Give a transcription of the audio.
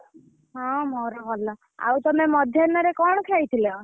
ହଁ ମୋର ଭଲ ଆଉ ତମେ ମଧ୍ୟାହ୍ନରେ କଣ ଖାଇଥିଲ?